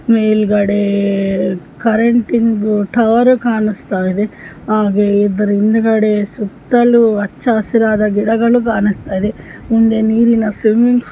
ಮೇಲ್ಗಡೆ ಕರೆಂಟಿದು ಟವರ್ ಕಾಣಸ್ತಾಯಿದೆ ಹಾಗೆ ಹಿಂದ್ಗಡೆ ಸುತ್ತಲೂ ಹಚ್ಚ ಹಸಿರಾದ ಗಿಡಗಳು ಕಾಣಸ್ತಾ ಇದೆ ಮುಂದೆ ನೀರಿನ ಸ್ವಿಮ್ಮಿಂಗ್ --